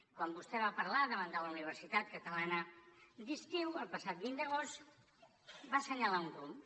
quan vostè va parlar davant de la universitat catalana d’estiu el passat vint d’agost va assenyalar un rumb